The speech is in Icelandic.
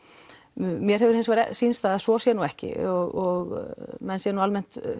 mér hefur reyndar sýnst það að svo sé ekki og menn séu almennt